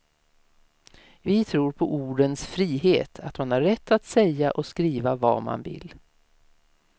Vi tror på ordens frihet, att man har rätt att säga och skriva vad man vill.